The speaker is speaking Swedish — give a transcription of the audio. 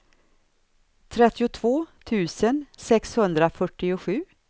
trettiotvå tusen sexhundrafyrtiosju